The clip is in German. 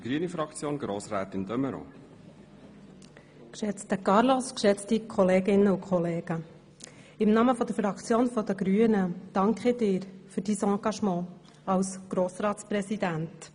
Geschätzter Carlos, im Namen der Fraktion der Grünen danke ich dir für dein Engagement als Grossratspräsident.